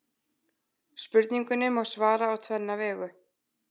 Spurningunni má svara á tvenna vegu.